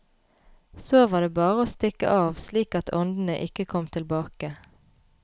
Så var det bare å stikke av slik at åndene ikke kom tilbake.